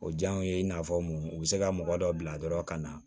O diyaw ye i n'a fɔ mun u bɛ se ka mɔgɔ dɔ bila dɔrɔn ka na